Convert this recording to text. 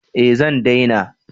Eh zan daina